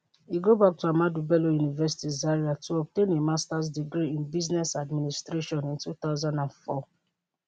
e go back to ahmadu bello university zaria to obtain a masters degree in business administration in 2004